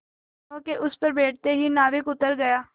दोेनों के उस पर बैठते ही नाविक उतर गया